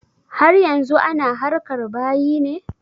Har yanzu ana harkar bayi ne?